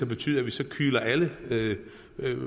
betyde at vi så kyler alle